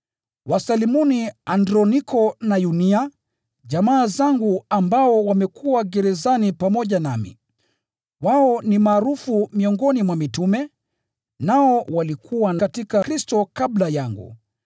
Wasalimuni Androniko na Yunia, jamaa zangu ambao wamekuwa gerezani pamoja nami. Wao ni maarufu miongoni mwa mitume, nao walikuwa katika Kristo kabla yangu.